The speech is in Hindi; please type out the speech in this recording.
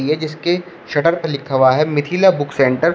यह जिसके शटर पे लिखा हुआ है मिथिला बुक सेंटर ।